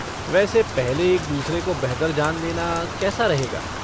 वैसे पहले एक दूसरे को बेहतर जान लेना कैसा रहेगा?